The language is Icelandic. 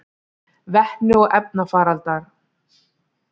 Vetni og efnarafalar: